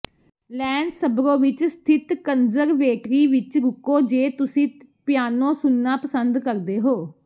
Lanesborough ਵਿਚ ਸਥਿਤ conservatory ਵਿਚ ਰੁਕੋ ਜੇ ਤੁਸੀਂ ਪਿਆਨੋ ਸੁਣਨਾ ਪਸੰਦ ਕਰਦੇ ਹੋ